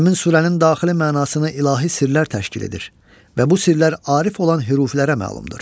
Həmin surənin daxili mənasını ilahi sirlər təşkil edir və bu sirlər arif olan hürufilərə məlumdur.